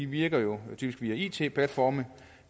virker jo typisk via it platforme